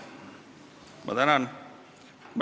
Ma tänan!